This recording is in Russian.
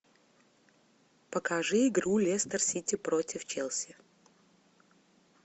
покажи игру лестер сити против челси